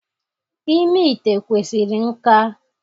Ime ite kwesịrị nka